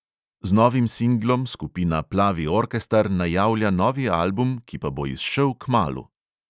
Z novim singlom skupina plavi orkestar najavlja novi album, ki pa bo izšel kmalu!